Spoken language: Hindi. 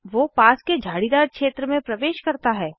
वो पास के झाड़ीदार क्षेत्र में प्रवेश करता है